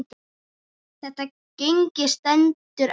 Þetta gengi stendur enn.